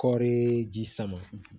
Kɔɔri ji sama